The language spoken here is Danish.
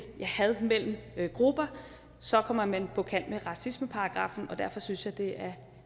had mellem grupper så kommer man på kant med racismeparagraffen derfor synes jeg det er